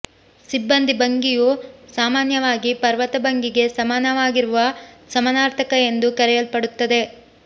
ಸಿಬ್ಬಂದಿ ಭಂಗಿಯು ಸಾಮಾನ್ಯವಾಗಿ ಪರ್ವತ ಭಂಗಿಗೆ ಸಮಾನವಾಗಿರುವ ಸಮಾನಾರ್ಥಕ ಎಂದು ಕರೆಯಲ್ಪಡುತ್ತದೆ